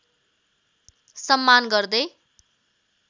सम्मान गर्दै